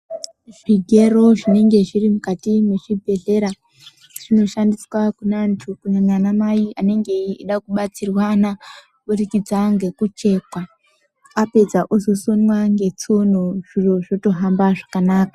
Zvigero zvinenge zviri mukati mezvibhedhlera zvinoshandiswa kune antu kunyanya ana mai anenge eida kubatsirwana kuburikidza ngekuchekwa apedza oshishima tsono zviro zvotohamba zvakanaka.